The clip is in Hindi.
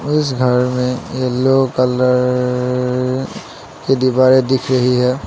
इस घर में येलो कलर की दिवारे दिख रही है।